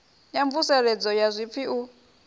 ya mvuseledzo ya zwipfi u